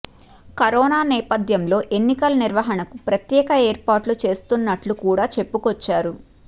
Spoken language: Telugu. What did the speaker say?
కరోనా నేపథ్యంలో ఎన్నికల నిర్వహణకు ప్రత్యేక ఏర్పాట్లు చేస్తున్నట్లు కూడా చెప్పుకొచ్చారు